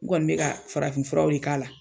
N kɔni be ka farafin furaw de k'a la.